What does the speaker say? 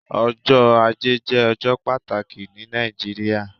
Ọjọ́ ajé jé ọjọ́ pàtàkì ní Nàìjíríà